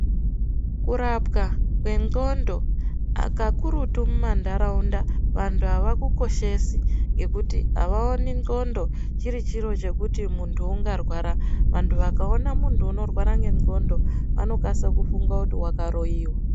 Kurapwa kwendxondo kakurutu mumandaraunda vantu avakukoshesi ngekuti avaoni ndxondo chiri chiro chekuti muntu ungarwara vantu vakakona muntu anorwara ngengonxo vanokasira kufunga akaroiwa.